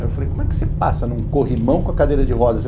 Aí eu falei, como é que você passa num corrimão com a cadeira de roda?